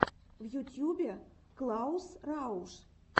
в ютьюбе клаус рауш